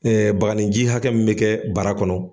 baganinji hakɛ min bi kɛ bara kɔnɔ.